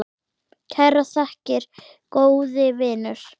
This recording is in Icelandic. Kærar þakkir, góði vinur.